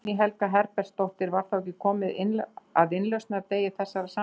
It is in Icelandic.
Guðný Helga Herbertsdóttir: Var þá ekki komið að innlausnardegi þessara samninga?